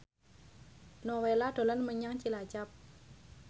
Nowela dolan menyang Cilacap